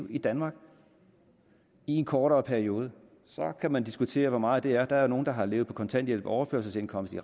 i danmark i en kortere periode så kan man diskutere hvor meget det er der er jo nogle der har levet på kontanthjælp og overførselsindkomst i